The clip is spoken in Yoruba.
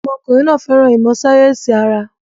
Ọmọkùnrin náà fẹ́ràn ìmọ̀ sáyẹ́sì ara.